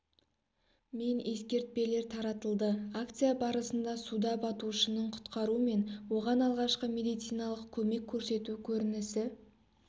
мен ескертпелер таратылды акция барысында суда батушыны құтқару мен оған алғашқы медициналық көмек көрсету көрінісі